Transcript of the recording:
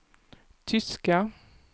tyska